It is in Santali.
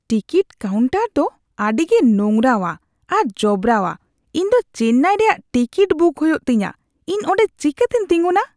ᱴᱤᱠᱤᱴ ᱠᱟᱣᱩᱱᱴᱟᱨ ᱫᱚ ᱟᱹᱰᱤᱜᱮ ᱱᱳᱝᱨᱟᱣᱟ ᱟᱨ ᱡᱚᱵᱨᱟᱣᱟ ᱾ ᱤᱧ ᱫᱚ ᱪᱮᱱᱱᱟᱭ ᱨᱮᱭᱟᱜ ᱴᱤᱠᱤᱴ ᱵᱩᱠ ᱦᱩᱭᱩᱜ ᱛᱤᱧᱟ, ᱤᱧ ᱚᱰᱮᱸ ᱪᱤᱠᱟᱹᱛᱤᱧ ᱛᱤᱸᱜᱩᱱᱟ ?